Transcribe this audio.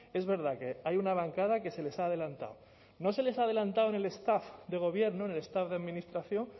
es verdad que hay una bancada que se les ha adelantado no se les ha adelantado en el estado de gobierno en el estado de administración